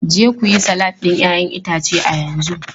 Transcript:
Je ku yi salatin 'ya'yan itace a yanzu!